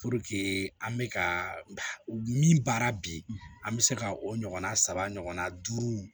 an bɛ ka min baara bi an bɛ se ka o ɲɔgɔnna saba ɲɔgɔnna duuru